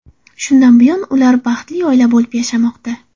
Shundan buyon ular baxtli oila bo‘lib yashamoqda.